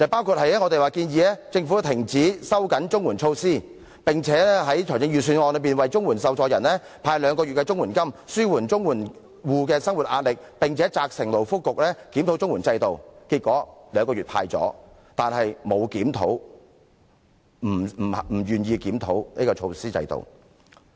第一，我們建議政府停止收緊綜合社會保障援助措施，以及在預算案中為綜援受助人派發兩個月的綜援金，紓緩綜援戶的生活壓力，並責成勞工及福利局檢討綜援制度；結果，政府派發兩個月的綜援金，但不願意檢討制度。